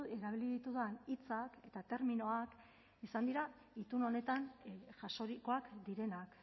erabili ditudan hitzak eta terminoak izan dira itun honetan jasorikoak direnak